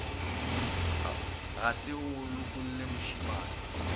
ga se go lokele mošemane